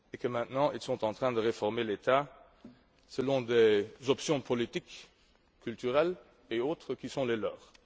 Maintenant il est en train de réformer l'État selon des options politiques, culturelles et autres qui sont les siennes.